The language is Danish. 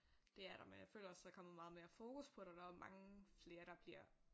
Det er der men jeg føler også der er kommet meget mere fokus på det der også mange flere der bliver